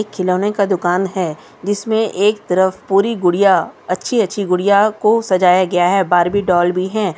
खिलौने का दुकान है जिसमें एक तरफ पूरी गुड़िया अच्छी-अच्छी गुड़िया को सजाया गया है बार्बी डॉल भी है।